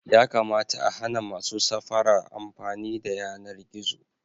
Yakamata a hana masu safara amfani da yanar gizo.